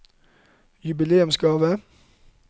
jubileumsgave